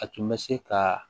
A tun bɛ se ka